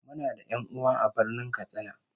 Muna da 'yan'uwa a Birnin Katsina